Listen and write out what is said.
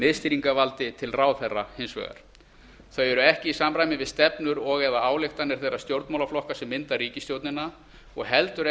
miðstýringarvald hins vegar þau eru ekki í samræmi við stefnur og eða ályktanir þeirra stjórnmálaflokka sem mynda ríkisstjórnina og heldur